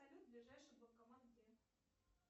салют ближайший банкомат где